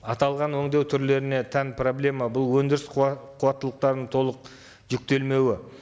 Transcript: аталған өңдеу түрлеріне тән проблема бұл өндіріс қуаттылықтарының толық жүктелмеуі